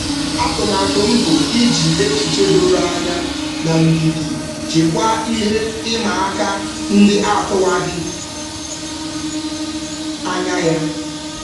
Atụmatụ m bụ iji echiche doro anya na ndidi jikwaa ihe ịma aka ndị atụwaghị anya ya.